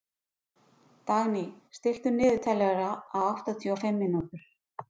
Dagný, stilltu niðurteljara á áttatíu og fimm mínútur.